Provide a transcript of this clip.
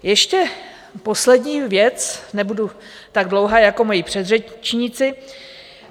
Ještě poslední věc, nebudu tak dlouhá jako moji předřečníci.